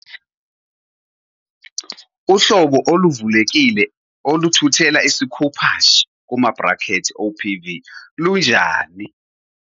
Uhlobo oluvulekile oluthuthela isikhuphashe, OPV, lunjani?